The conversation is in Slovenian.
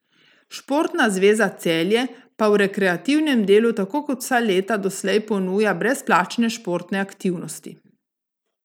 Športna zveza Celje pa v rekreativnem delu tako kot vsa leta doslej ponuja brezplačne športne aktivnosti.